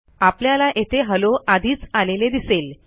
आपल्याला येथे हेल्लो आधीच आलेले दिसेल